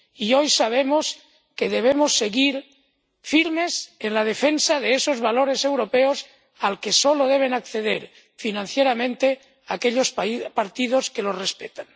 Y hoy sabemos que debemos seguir firmes en la defensa de esos valores europeos, y que solo deben acceder a financiación aquellos partidos que los respetan.